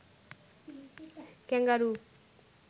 kangaroo